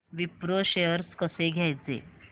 Wipro shares कसे घ्यायचे